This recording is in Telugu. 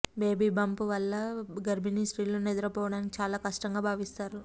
బేబీ బంప్ వల్ల గర్భిణీ స్త్రీలు నిద్రపోవడానికి చాలా కష్టంగా భావిస్తారు